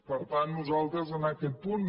per tant nosaltres en aquest punt